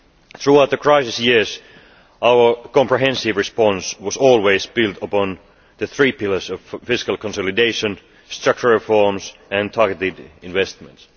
Throughout the crisis, yes, our comprehensive response has always been built upon the three pillars of fiscal consolidation, structural reforms and targeted investments.